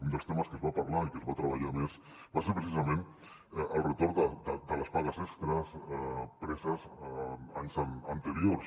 un dels temes que es va parlar i que es va treballar més va ser precisament el retorn de les pagues extres preses en anys anteriors